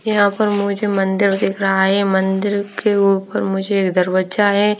यहाँ पर मुझे मंदिर दिख रहा है मंदिर के ऊपर मुझे दरवज़्जा है ।